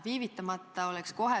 Viivitamata oleks otsekohe.